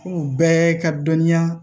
Furu bɛɛ ka dɔnniya